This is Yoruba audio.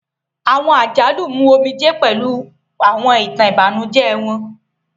Awọn àjálù mú omijé pẹlu awọn itan ibanujẹ wọn.